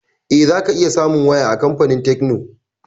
Eh, za ka iya samun waya a kamfanin tekno